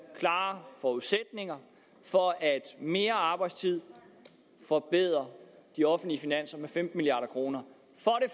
klare forudsætninger for at mere arbejdstid forbedrer de offentlige finanser med femten milliard kroner